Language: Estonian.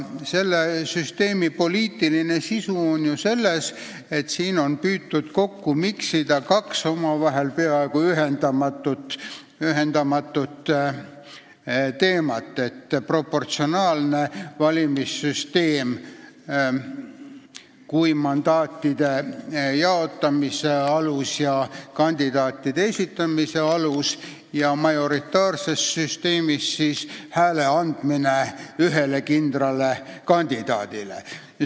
Selle süsteemi poliitiline sisu on selles, et siin on püütud kokku miksida kaks omavahel peaaegu ühendamatut teemat: proportsionaalne valimissüsteem kui mandaatide jaotamise ja kandidaatide esitamise alus ning nagu majoritaarses valimissüsteemis hääle andmine ühele kindlale kandidaadile.